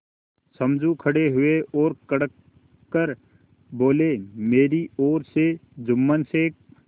समझू खड़े हुए और कड़क कर बोलेमेरी ओर से जुम्मन शेख